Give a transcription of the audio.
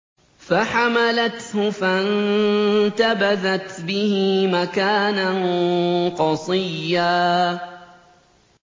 ۞ فَحَمَلَتْهُ فَانتَبَذَتْ بِهِ مَكَانًا قَصِيًّا